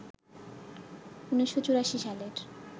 ১৯৮৪ সালের